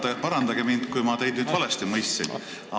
Palun parandage mind, kui ma teid nüüd valesti mõistsin.